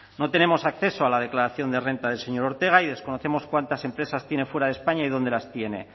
no tenemos acceso a la declaración de renta del señor ortega y desconocemos cuántas empresas tiene fuera de españa y dónde las tiene